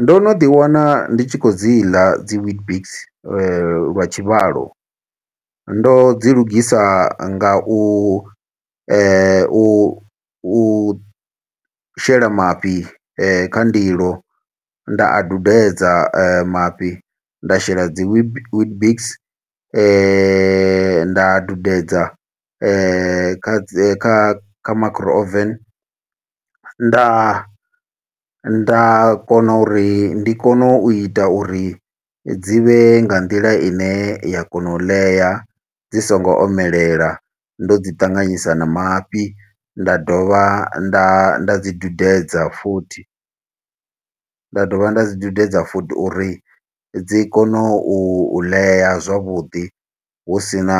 Ndo no ḓi wana ndi tshi khou dzi ḽa dzi weetbix lwa tshivhalo. Ndo dzi lugisa nga u u u shela mafhi kha ndilo, nda a dudedza mafhi. Nda shela dzi witbix nda dudedza kha kha kha micro oven. Nda nda kona uri ndi kone u ita uri dzi vhe nga nḓila ine ya kona u ḽea, dzi songo omelela, ndo dzi ṱanganyisa na mafhi. Nda dovha nda nda dzi dudedza futhi, nda dovha nda dzi dudedza futhi uri dzi kone u ḽea zwavhuḓi husina